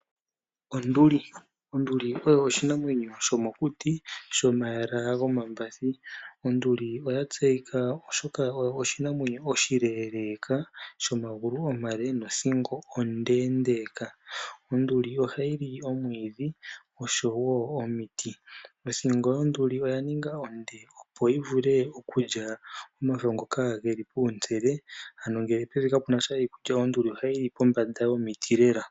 Onduli oyo oshinamwenyo shomokuti shomayala gomambathi. Onduli oya tseyika, oshoka oyo oshinamwenyo oshileeleeka shomagulu omale nothingo ondeendeeka. Onduli ohayi li omwiidhi oshowo omiti. Othingo yonduli oya ninga onde, opo yi vule okulya omafo ngoka ge li puule, ano ngele pevi kapu na sha iikulya onduli ohayi li pombanda yomiti lela.